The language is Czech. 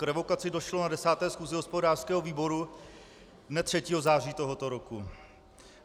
K revokaci došlo na 10. schůzi hospodářského výboru dne 3. září tohoto roku.